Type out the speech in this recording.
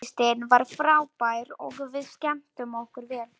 Tónlistin var frábær og við skemmtum okkur vel.